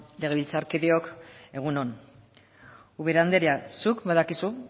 legebiltzarkideok egun on ubera anderea zuk badakizu